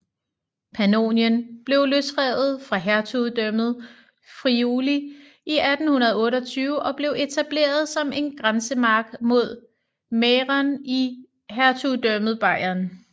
Pannonien blev løsrevet fra Hertugdømmet Friuli i 828 og blev etableret som en grænsemark mod Mähren i hertugdømmet Bayern